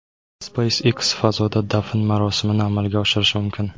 SpaceX fazoda dafn marosimini amalga oshirishi mumkin.